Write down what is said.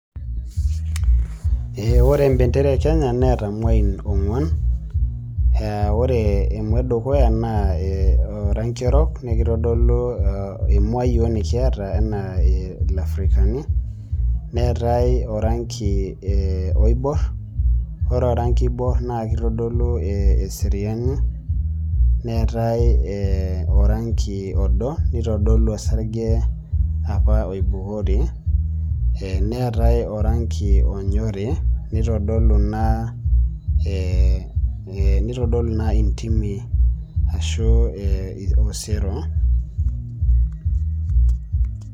Ee ore embendera ekenya neata mwain onguan e ore emuabedukuya naa e orangi orok nakitadolu emua yiok nikiata a lafrikani, neatae orangi oibor ore orangi oibor na kitadolu eseriani, neetae orangi odo nitodolu osarge apa oibukori ,neata orangi onyori nitadolu ina ee nitodolu nai ntimi ashu osero .